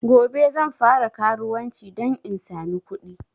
Gobe zan fara karuwanci dan in samu kuɗi